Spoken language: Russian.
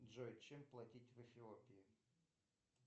джой чем платить в эфиопии